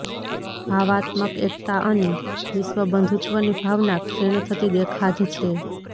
ભાવાત્મક એકતા અને વિશ્વબંધુત્વની ભાવના ક્ષીણ થતી દેખાધ છે